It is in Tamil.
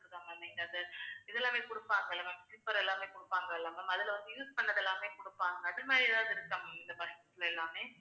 இதெல்லாமே கொடுப்பாங்க இல்ல ma'am sleeper எல்லாமே கொடுப்பாங்க இல்ல ma'am அதில வந்து, use பண்ணது எல்லாமே கொடுப்பாங்க. அது மாதிரி ஏதாவது இருக்கா ma'am இந்த bus ல எல்லாமே